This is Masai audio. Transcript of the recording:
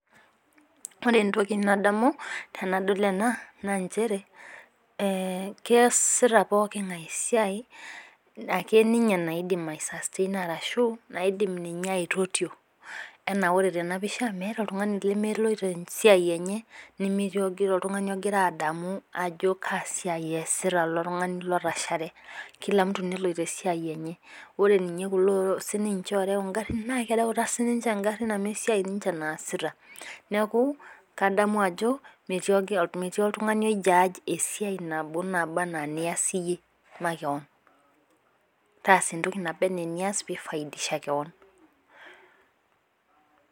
Ore entoki nadamu tenadol ena naa nchere keesita pooki ng'ae esiai ake ninye naidim ai sustain ashu naidim ninye aitotio. anaa ore tene pisha meeta oltungani lemeloitp esiai enye. nemetii oltungani ogira adamu ajo kaa siai eesita oltungani lotashare. ore ninye kulo sii ninche ooreu igarin, naa kereuta sii ninche garin enye amu esiai sii ninche naasita. neeku, kadamu ajo metii oltungani oi judge esiai nabo anaa enias iyie makewon. taase entoki naba anaa enias pee ifaidisha kewon